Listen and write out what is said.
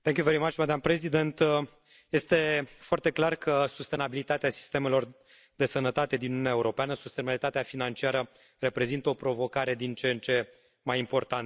Doamnă președintă, este foarte clar că sustenabilitatea sistemelor de sănătate din Uniunea Europeană, sustenabilitatea financiară reprezintă o provocare din ce în ce mai importantă.